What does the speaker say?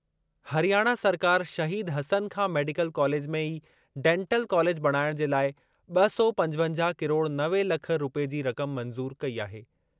हरियाणा सरकार Shaheed Hasan Khan medical college में ई डैंटल कॉलेज बणाइणु जे लाइ ब॒ सौ पंजवजाह किरोड़ नवे लख रूपए जी रक़म मंज़ूर कई आहे।